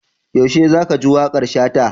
Yaushe za ka ji waƙar Shata?